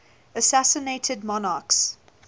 assassinated monarchs